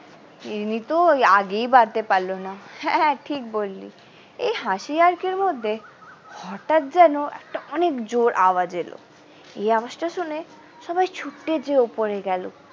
এমনিতেও ওই আগেই বাড়তে পারলো না হ্যাঁ ঠিক বললি এই হাসি ইয়ার্কির মধ্যে হটাৎ যেন একটা অনেক জোর আওয়াজ এলো এই আওয়াজটা শুনে সবাই ছুটে যেয়ে উপর এ গেল।